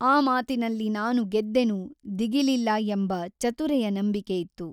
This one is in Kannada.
ಆ ಮಾತಿನಲ್ಲಿ ನಾನು ಗೆದ್ದೆನು ದಿಗಿಲಿಲ್ಲ ಎಂಬ ಚತುರೆಯ ನಂಬಿಕೆಯಿತ್ತು.